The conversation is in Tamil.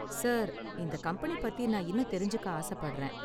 சார் இந்த கம்பெனி பத்தி நான் இன்னும் தெரிஞ்சுக்க ஆசப்படுறேன்.